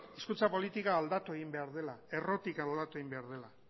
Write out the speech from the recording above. hizkuntza politika aldatu egin behar dela errotik aldatu egin behar dela